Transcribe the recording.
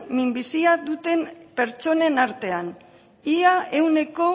minbizia duten pertsonen artean ia ehuneko